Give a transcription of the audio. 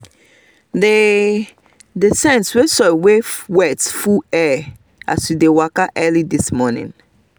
the the scent wey soil wey wet full air as we dey waka this early morning